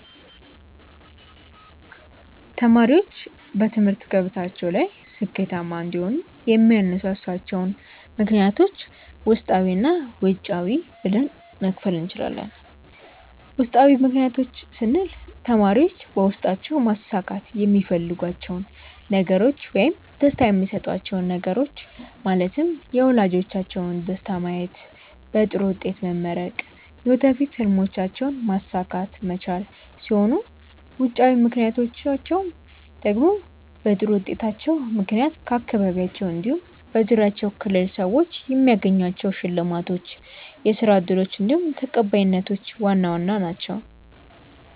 ተማሪዎች በትምህርት ገበታቸው ላይ ስኬታማ እንዲሆኑ የሚያነሳሷቸውን ምክንያቶች ውስጣዊ እና ውጫዊ ብለን መክፈል እንችላለን። ውስጣዊ ምክንያቶች ስንል ተማሪዎች በውስጣቸው ማሳካት የሚፈልጓቸውን ነገሮች ውይም ደስታ የሚሰጧቹው ነገሮች ማለትም የወላጆቻቸውን ደስታ ማየት፣ በጥሩ ውጤት መመረቅ፣ የወደፊት ህልሞቻቸውንም ማሳካት መቻል ሲሆኑ ውጫዊ ምክንያቶቻቸው ደግሞ በጥሩ ውጤታቸው ምክንያት ከአካባቢያቸው እንዲሁም በዙሪያቸው ክልል ሰዎች የሚያገኟቸው ሽልማቶች፣ የስራ እድሎች እንዲሁም ተቀባይነቶች ዋና ዋናዎቹ ናችው።